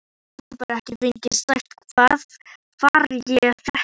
Gat bara ekki sagt hvar ég fékk það.